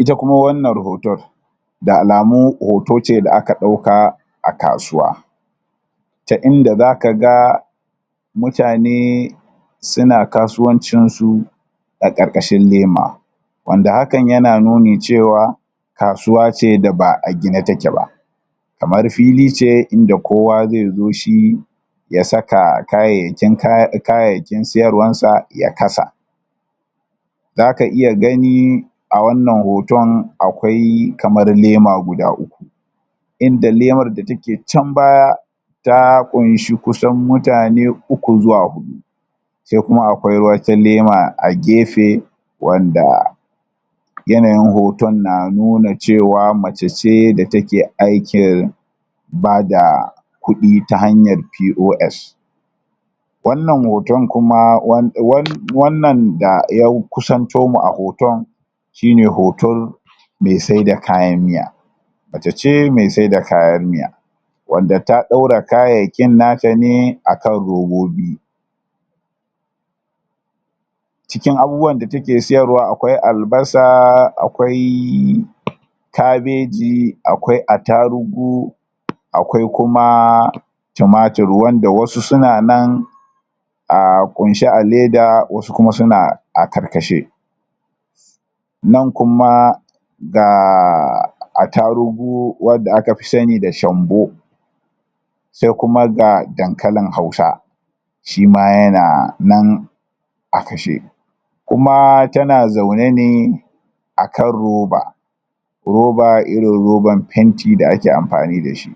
ita kuma wannan hoton da alamu hoto ce da aka dauka a kasuwa ta inda zaka ga mutane suna kasuwancin su a karkashin lema wanda hakan yana nuni cewa kasuwa ce da ba gine take ba kamar fili ce inda kowa zai zo shi ya saka kayayyakin um kaya kayyayakin siyarwar sa ya kasa zaka iya gani a wannan hoton akwai kamar lema guda uku inda lemar da take chan baya ta kunshi kusan mutane uku zuwa hudu sai kuma akwai wata lema a gefe wanda yanayin hoton na nuna cewa mace ce da take aikin bada kudi ta hanyar pos wannan hoton kuma um um wannan da ya kusanto mu a hoton shine hoton me se da kayan miya mace ce me se da kayan miya wanda ta daura kayyayakin nata ne akan robobi cikin abubuwan da take siyarwa akwai albasa akwai kabeji akwai attarugu akwai kumaa tumatur wanda wasu suna nan aaah kunshe a leda wasu kuma su na a karkashe nan kuma gaa um attarugu wanda aka fi sani da shambu sai kuma ga dankalin hausa shima yanaa nan a kashe kumaa tana zauna ne a kan roba robaa irin roban fenti da ake amfani da shi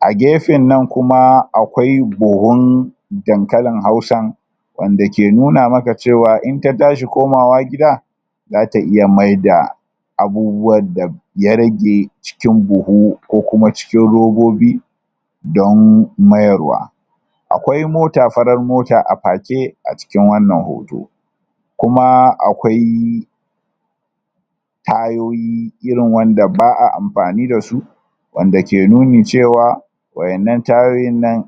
a gefen nan kuma akwai buhun dankalin hausan wanda ke nuna maka cewa in ta tashi komawa gida zata iya maida abubuwan da da ya rage cikin buhu ko kuma cikin robobi don mayar wa akwai mota farar mota a pake a cikin wannan hoto kumaa akwai tayoyi irin wanda baa amfani dasu wanda ke nuni cewa wa'ennan tayoyin nan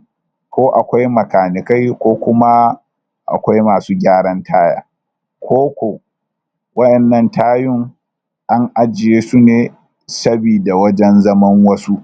ko akwai makanikai ko kumaa akwai amsu gyaran taya ko koh wa'ennan tayun an ajiyesu ne sabida zaman wajen wasu?